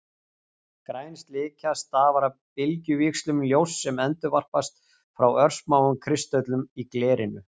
Græn slikja stafar af bylgjuvíxlum ljóss sem endurvarpast frá örsmáum kristöllum í glerinu.